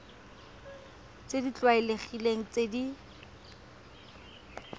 tse di tlwaelegileng tse di